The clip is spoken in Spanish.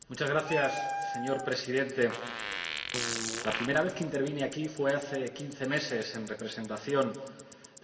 Señor Presidente, la primera vez que intervine aquí fue hace quince meses, en representación de este Grupo.